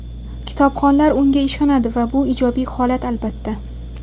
Kitobxonlar unga ishonadi va bu ijobiy holat, albatta.